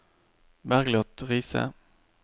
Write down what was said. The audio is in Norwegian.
Bergliot Riise